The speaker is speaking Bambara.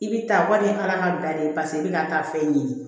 I bɛ taa warima da de ye paseke i bɛ ka taa fɛn ɲini